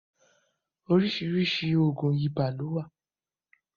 Oríṣiríṣi oògùn ibà ni ó wà